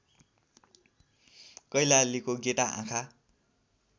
कैलालीको गेटा आँखा